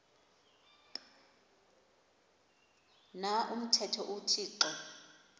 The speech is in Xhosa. na umthetho uthixo